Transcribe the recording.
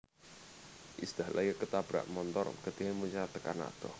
Iis Dahlia ketabrak montor getihe muncrat tekan adoh